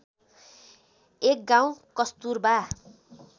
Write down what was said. एक गाउँ कस्तूरबा